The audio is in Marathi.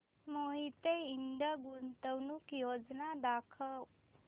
मोहिते इंड गुंतवणूक योजना दाखव